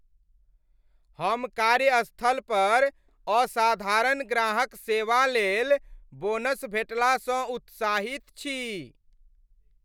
हम कार्यस्थलपर असाधारण ग्राहक सेवालेल बोनस भेटलासँ उत्साहित छी।